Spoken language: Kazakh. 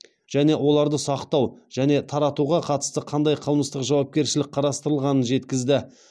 және оларды сақтау және таратуға қатысты қандай қылмыстық жауапкершілік қарастырылғанын жеткізді